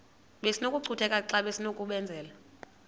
besinokucutheka xa besinokubenzela